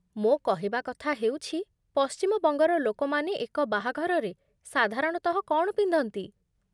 ମୋ କହିବା କଥା ହେଉଛି ପଶ୍ଚିମ ବଙ୍ଗର ଲୋକମାନେ ଏକ ବାହାଘରରେ ସାଧାରଣତଃ କ'ଣ ପିନ୍ଧନ୍ତି?